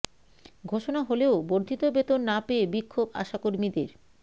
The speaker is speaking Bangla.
ঘোষণা হলেও বর্ধিত বেতন না পেয়ে বিক্ষোভ আশা কর্মীদের